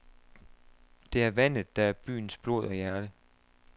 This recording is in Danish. Det er vandet, der er byens blod og hjerte.